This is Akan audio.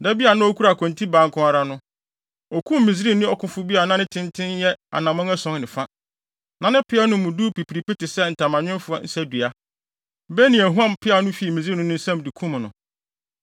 Da bi a na okura kontibaa nko ara no, okum Misraimni ɔkofo bi a na ne tenten yɛ anammɔn ason ne fa. Na ne peaw no mu pipiripi te sɛ ntamanwemfo nsadua. Benaia huam peaw no fii Misraimni no nsam, de kum no.